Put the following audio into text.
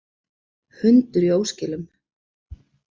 Hundur í óskilum